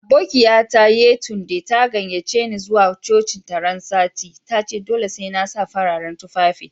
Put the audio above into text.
Aboƙiya ta Yetunde, ta gayyace ni zuwa cocin ta ran sati. Ta ce dolle sai na sa fararen tuffafi.